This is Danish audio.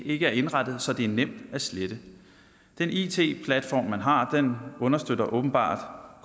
ikke er indrettet så det er nemt at slette den it platform man har understøtter åbenbart